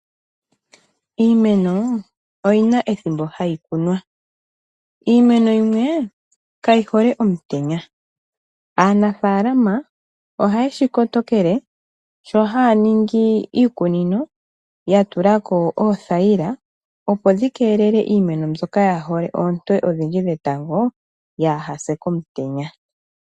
Iimeno oyi na ethimbo hayi kunwa. Iimeno yimwe kayi hole omutenya. Aanafaalama ohaye shi kotokele, sho haya ningi iikunino ya tulako oothayila, opo dhi keelele iimeno mbyoka kayi hole oonte odhindji dhetango kayi se komutenya.